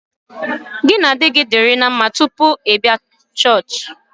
Gị na di gị dị ná mma tupu ị bịa chọọchị